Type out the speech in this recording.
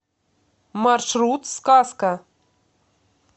маршрут сказка